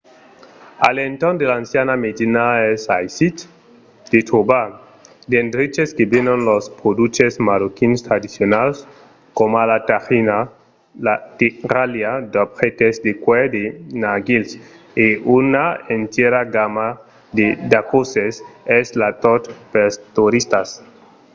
a l’entorn de l’anciana medina es aisit de trobar d’endreches que venon los produches marroquins tradicionals coma las tajinas la terralha d'objèctes de cuèr de narguils e una entièra gamma de daquòsses mas es tot pels toristas